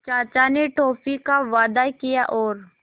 चाचा ने टॉफ़ी का वादा किया और